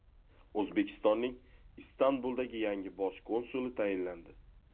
O‘zbekistonning Istanbuldagi yangi bosh konsuli tayinlandi.